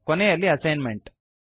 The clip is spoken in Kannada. ಕೊನೆಯಲ್ಲಿ ಅಸೈನ್ಮೆಂಟ್